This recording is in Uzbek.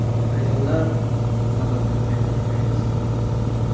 Ayollar, nazokatni qayta tiklaymiz!